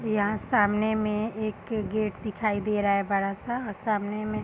यहाँ सामने में एक गेट दिखाई दे रहा है बड़ा सा और सामने में --